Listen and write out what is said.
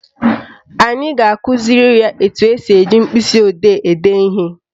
Anyị ga-akụziri ya etu esi eji mkpịsịodee ede ihe